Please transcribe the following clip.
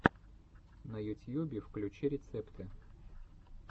на ютьюбе включи рецепты